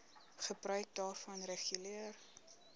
gebruik daarvan reguleer